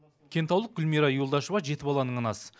кентаулық гулмира юлдашева жеті баланың анасы